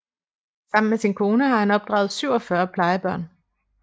Sammen med sin kone har han opdraget 47 plejebørn